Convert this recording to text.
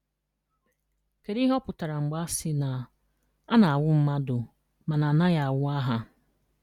Kedu ihe ọ pụtara mgbe a sị na “A na-anwụ mmadụ mana a naghị anwụ aha”?